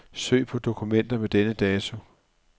Søg på dokumenter med denne dato.